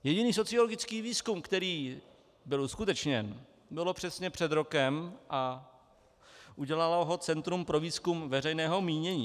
Jediný sociologický výzkum, který byl uskutečněn, byl přesně před rokem a udělalo ho Centrum pro výzkum veřejného mínění.